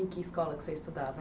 Em que escola que você estudava?